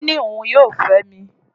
Ó ní òun yóò fẹ́ mi.